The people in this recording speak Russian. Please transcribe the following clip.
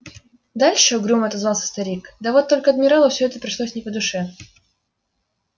дальше угрюмо отозвался старик да вот только адмиралу все это пришлось не по душе